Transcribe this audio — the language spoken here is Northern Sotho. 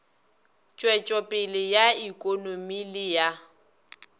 tšwetšopele ya ikonomi le ya